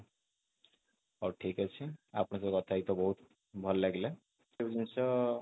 ହଉ ଠିକ ଅଛି ଆପଣଙ୍କ ସହିତ କଥା ହେଇକି ବହୁତ ଭଲ ଲାଗିଲା ଜିନିଷ